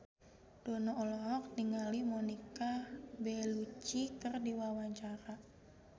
Dono olohok ningali Monica Belluci keur diwawancara